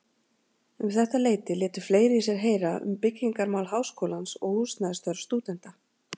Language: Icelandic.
Um þetta leyti létu fleiri í sér heyra um byggingarmál Háskólans og húsnæðisþörf stúdenta.